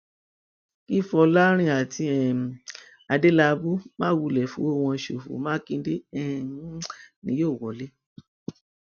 kí fọlọrìn àti um adélábù má wulẹ fọwọ wọn ṣòfò mákindè um ni yóò wọlé